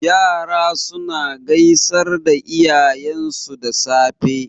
Yara suna gaisar da iyayensu da safe.